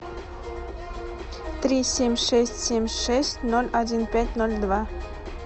три семь шесть семь шесть ноль один пять ноль два